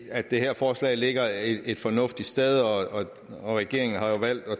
at det her forslag ligger et fornuftigt sted og regeringen har jo valgt at